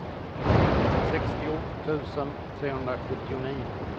sextio tusen trehundrasjuttionio